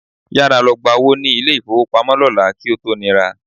Yára lọ gba owó ní ilé-ìfówopamọ́ lọ́la kí ó tó nira